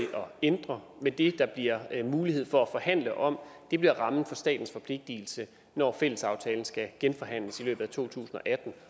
ændre men det der bliver mulighed for at forhandle om bliver rammen for statens forpligtelse når fællesaftalen skal genforhandles i løbet af to tusind og atten